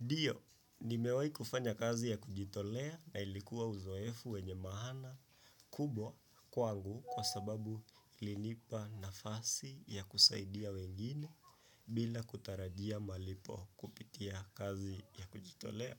Ndio, nimewai kufanya kazi ya kujitolea na ilikuwa uzoefu wenye maana kubwa kwangu kwa sababu ilinipa nafasi ya kusaidia wengine bila kutarajia malipo kupitia kazi ya kujitolea.